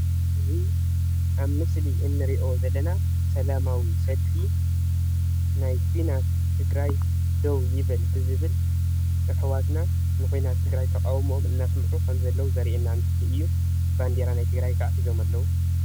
እዚ ኣብ ምስሊ እንርእዮ ዘለና ሰላማዊ ሰልፊ ናይ ኩናት ትግራይ ደው ይብል ብዝብል ኣሕዋትና ንኩናት ትግራይ ተቃዉሞኦም ኣናሰምዑ ከምዘለዉ ዘርእየና ምስሊ እዩ :: ባንዴራ ናይትግራይ ከኣ ሒዞም ኣለዉ::